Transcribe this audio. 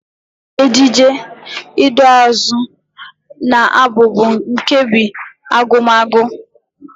Ejije, iduuazụ na Abụ bụ nkebi Agụmagụ.